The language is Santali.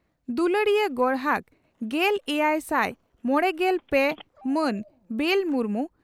ᱫᱩᱞᱟᱹᱲᱤᱭᱟᱹ ᱜᱚᱨᱦᱟᱠ ᱜᱮᱞ ᱮᱭᱟᱭ ᱥᱟᱭ ᱢᱚᱲᱮᱜᱮᱞ ᱯᱮ ᱢᱟᱱ ᱵᱮᱞ ᱢᱩᱨᱢᱩ